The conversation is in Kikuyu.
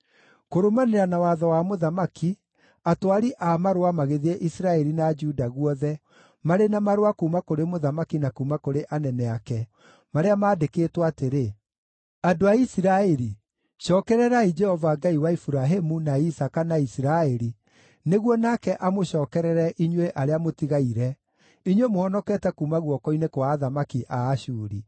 Kũrũmanĩrĩra na watho wa mũthamaki, atwari a marũa magĩthiĩ Isiraeli na Juda guothe marĩ na marũa kuuma kũrĩ mũthamaki na kuuma kũrĩ anene ake, marĩa maandĩkĩtwo atĩrĩ: “Andũ a Isiraeli, cookererai Jehova Ngai wa Iburahĩmu, na Isaaka, na Isiraeli, nĩguo nake amũcookerere inyuĩ arĩa mũtigaire, inyuĩ mũhonokete kuuma guoko-inĩ kwa athamaki a Ashuri.